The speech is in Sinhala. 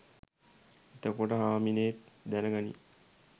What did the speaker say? එතකොට හාමිනේත් දැන ගනියි